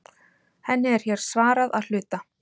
Henni er hér svarað að hluta.